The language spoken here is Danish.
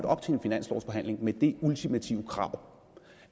op til en finanslovsforhandling med det ultimative krav